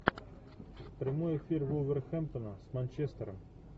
прямой эфир вулверхэмптона с манчестером